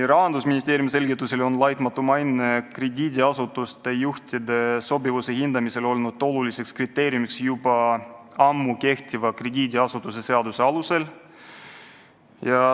Rahandusministeeriumi selgitusel on laitmatu maine krediidiasutuste juhtide sobivuse hindamisel oluline kriteerium olnud juba ammu kehtiva krediidiasutuse seaduse alusel.